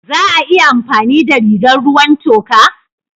Za a iya amfani da rigar ruwan toka?